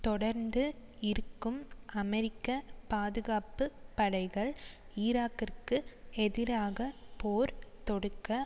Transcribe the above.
தொடர்ந்து இருக்கும் அமெரிக்க பாதுகாப்பு படைகள் ஈராக்கிற்கு எதிராக போர் தொடுக்க